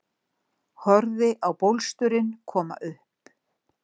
Horfði á bólsturinn koma upp